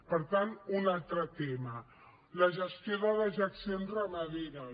per tant un altre tema la gestió de dejeccions ramaderes